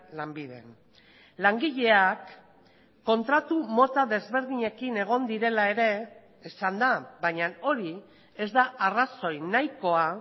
lanbiden langileak kontratu mota desberdinekin egon direla ere esan da baina hori ez da arrazoi nahikoa